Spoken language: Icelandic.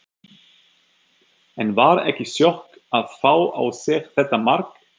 En var ekki sjokk að fá á sig þetta mark?